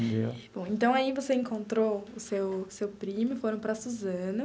Entendeu. Bom, então aí você encontrou o seu seu primo e foram para Suzano.